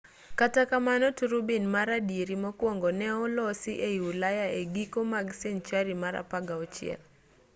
kata kamano turubin mar adieri mokwongo ne olosi ei ulaya e giko mag senchari mar 16